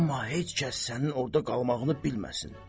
Amma heç kəs sənin orda qalmağını bilməsin.